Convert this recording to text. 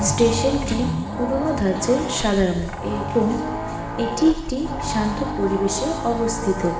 স্টেশনটি পুরনো ধাঁচের সাদা রংয়ের এবং এটি একটি শান্ত পরিবেশে অবস্থিত।